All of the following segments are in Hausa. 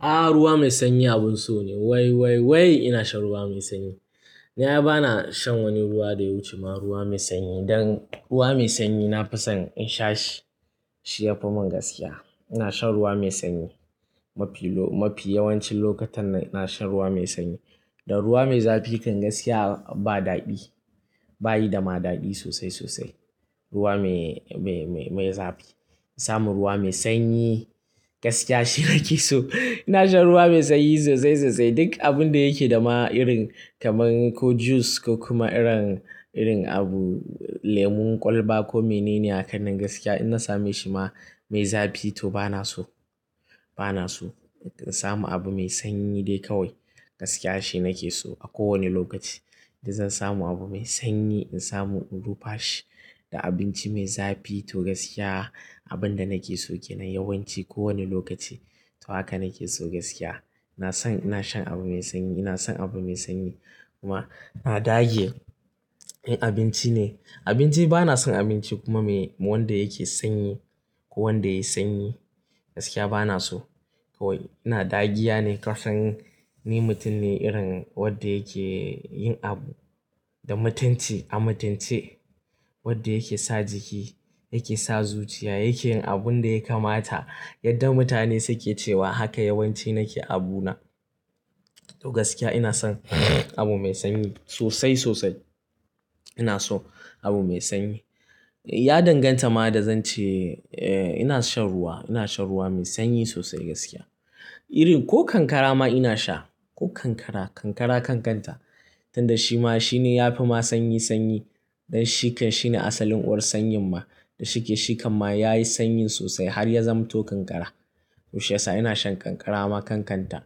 A'a ruwa mai sanyi abun so ne. Wai wai wai ina shan ruwa mai sanyi. Na ai ba na shan wani ruwa da ya wuce ma ruwa mai sanyi dan ruwa mai sanyi na fi son in sha shi. Shi ya fi mun gaskiya. Ina shan ruwa mai sanyi mafi lo-- mafi yawancin lokutan nan ina shan ruwa mai sanyi. Da ruwa mai zafi kan gaskiya ba daɗi. Ba yi da ma daɗi sosai sosai ruwa me-me-me zafi. In samu ruwa mai sanyi gaskiya shi nake so. Ina shan ruwa mai sanyi sosai sosai. Duk abun da yake da ma irin kamar ko juice ko kuma irin, irin abu lemon kwalba ko menene hakan nan gaskiya in na same shi ma mai zafi to ba na so. Banaso. In samu abu mai sanyi dai kawai, gaskiya shi nakeso a kowani lokaci in dai zan samu abu mai sanyi in samu in rufe shi da abinci mai zafi to gaskiya abin da nake so kenan yawanci ko wane lokaci to haka nake so gaskiya. Na san ina shan abu mai sanyi. Ina son abu mai sanyi kuma na dage. In abinci ne, abinci ba na son abinci kuma me wanda yake sanyi ko wanda yayi sanyi gaskiya ba na so. Kawai ina ɗagiya ne kasan ni mutum ne irin wanda yake yin abu da mutunci a mutunce. Wanda yake sa jiki, yake sa zuciya, yake yin abun da ya kamata yadda mutane suke cewa haka yawanci nake abu na. To gaskiya ina son abu mai sanyi sosai sosai. Ina so abu mai sanyi. Ya danganta ma da zan ce, eh ina shan ruwa, ina shan ruwa mai sanyi sosai gaskiya. Irin ko kankara ma ina sha. Ko kankara, kankara kan kanta. Tunda shi ma shine yafi ma sanyi sanyi. Dan shi kan shine asalin uwar sanyin ma. Da shike shikam yayi sanyin sosai har ya zamto kankara to shiyasa ina shan kankara ma kan kanta.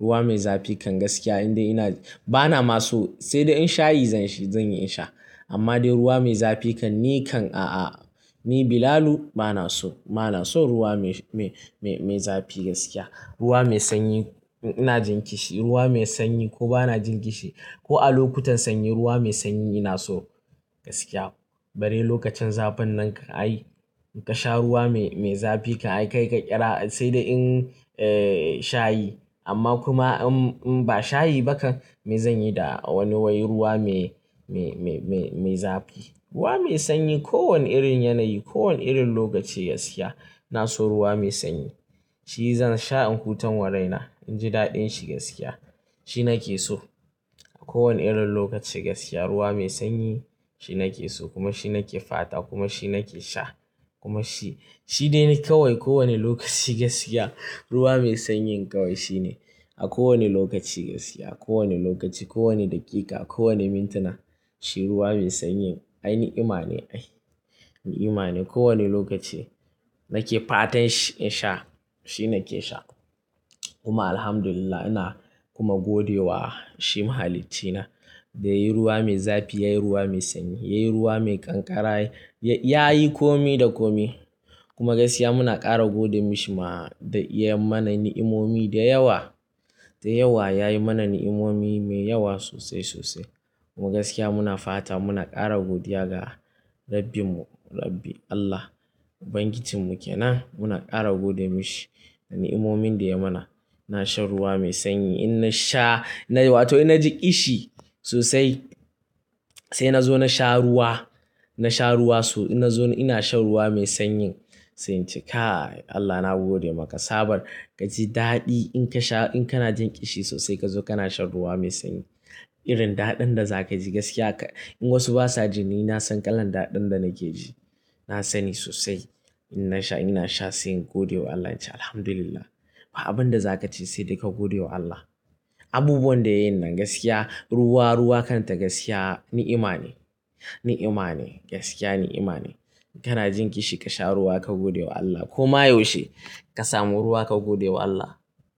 Ruwa mai zafi kan gaskiya in dai ina-- bana ma so sai da in shayi zan yi in sha. Amma dai ruwa mai zafi kan ni kan a'a. Ni Bilalu ba na so, ba na so ruwa me-me-me zafi gaskiya. Ruwa mai sanyi ina jin kishi ruwa mai sanyi ko ba na jin kishi ko a lokutan sanyi ruwa mai sanyi ina so gaskiya. Bare lokacin zafin nan kan ai ka sha ruwa mai, mai zafi kan yi kai ka ƙira sai da in, eh shayi. Amma kuma in, in ba shayi ba kan me zan yi da wani wai ruwa mai, mai, mai, mai zafi. Ruwa mai sanyi ko wane irin yanayi, ko wane irin lokaci gaskiya ina so ruwa mai sanyi. Shi zan sha in hutan wa raina. In ji daɗin shi gaskiya. Shi nake so a ko wane irin lokaci gaskiya. Ruwa mai sanyi shi nake so kuma shi nake fata kuma shi nake sha kuma shi, shi dai kawai ko wane lokaci gaskiya ruwa mai sanyi kawai shine a ko wane lokaci gaskiya. A ko wane lokaci, ko wane daƙiƙa, ko wane mintina shi ruwa mai sanyi ai ni'ima ne ai. Ni'ima ne ko wane lokaci nake fatan shi in sha shi nake sha. Kuma Alhamdulillah ina kuma gode wa shi mahaliccina da yayi ruwa mai zafi, yayi ruwa mai sanyi, yayi ruwa mai kankara, ya yi komi da komi. Kuma gaskiya muna ƙara gode mishi ma da ya yi mana ni'imomi da yawa. Da yawa yayi mana ni'imomi mai yawa sosai sosai. Kuma gaskiya muna fata muna ƙara godiya ga Rabbim mu, Rabbi Allah. Ubangijin mu kenan muna ƙara gode mishi da ni'imomin da ya mana. Ina shan ruwa mai sanyi in na sha wato in na ji ƙishi sosai sai na zo na sha ruwa. Na sha ruwa so-- in na zauna ina shan ruwa mai sanyi. Sai in ce "Kai Allah na gode maka" tsabar ka ji daɗi in ka sha, in kana jin ƙishi sosai ka zo kana shan ruwa mai sanyi. Irin daɗin da za ka ji gaskiya ka, in wasu ba sa ji ni na san kalan daɗin da nake ji. Na sani sosai. In na sha ina sha sai in gode wa Allah ince Alhamdulillah. Ba abunda zakace sai dai ka godewa Allah. Abubuwan da ya yin na gaskiya-- ruwa ruwa kanta gaskiya ni'ima ne, ni'ima ne, gaskiya ni'ima ne. Kana jin kishi ka sha ruwa ka godewa Allah. Ko ma yaushe ka samu ruwa ka godewa Allah.